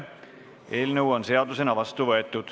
Eelnõu on seadusena vastu võetud.